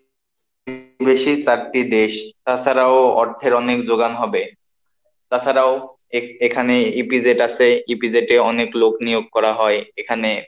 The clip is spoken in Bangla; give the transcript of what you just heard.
বেশি চারটি দেশ, তাছাড়াও অর্থের অনেক যোগান হবে, তাছাড়াও এখানে EPZ আছে, EPZ অনেক লোক নিয়োগ করা হয়, এখানে,